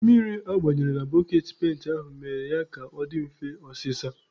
Mmiri agbaranyere na boketị penti aha mere ya ka ọ dị mfe ọsịsa.